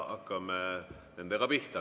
Hakkame nendega pihta.